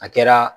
A kɛra